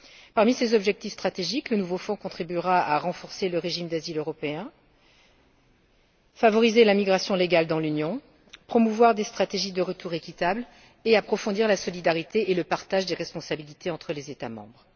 Parmi ses objectifs stratégiques, le nouveau fonds contribuera àrenforcer le régime d'asile européen, à favoriser la migration légale dans l'Union, à promouvoir des stratégies de retour équitables et à approfondir la solidarité et le partage des responsabilités entre les États membres.